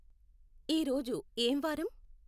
ఈరోజు ఏం వారం